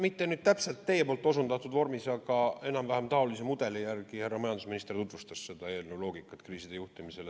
Mitte nüüd täpselt teie osutatud vormis, aga enam-vähem taolise mudeli järgi härra majandusminister selle eelnõu loogikat kriiside juhtimisel tutvustas.